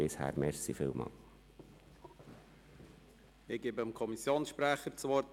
Ich gebe dem Kommissionssprecher das Wort.